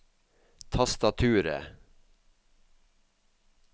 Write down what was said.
tastaturet